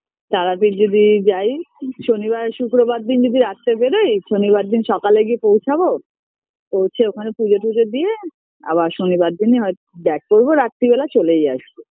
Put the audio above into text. তারাপীঠ যদি যাই শনিবার শুক্রবার দিন যদি রাত্রে বেরোই শনিবার দিন সকালে গিয়ে পৌছাবো পৌছে ওখানে পূজো টুজো দিয়ে আবার শনিবার দিনই হয়ত back করবো রাত্তির বেলা চলেই আসবো